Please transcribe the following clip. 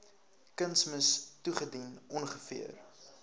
kunsmis toegedien ongeveer